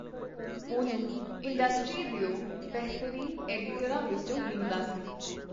ਉਹਨੂੰ ਇੰਡਸਟਰੀ ਦਿਓ ਬੇਹਤਰੀਨ ਐਡੀਟਰਾਂ ਵਿਚੋਂ ਗਿਣਦਾ ਸੀ.